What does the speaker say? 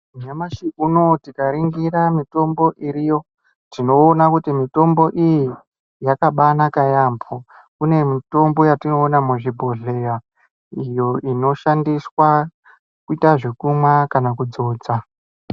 Nyamashi unowu tikaringira mutombo iriyo tinoona kuti mutombo iyi yakabaanaka yaampo kune mútombo yatinoona muzvibhodhleya iyo inoshandiswa kuita zvekumwa kana kudzodza.